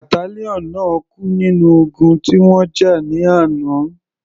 Battalion náà kú nínú ogun tí wọ́n jà ní àná.